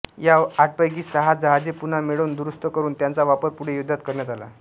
या आठपैकी सहा जहाजे पुन्हा मिळवून् दुरुस्त करून त्यांचा वापर पुढे युद्धात करण्यात आला